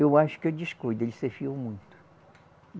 Eu acho que o descuido, ele se fiou muito.